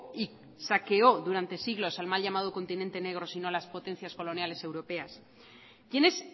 y saqueó durante siglos al mal llamado continente negro sino las potencias coloniales europeas quiénes